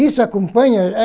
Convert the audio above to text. Isso acompanha?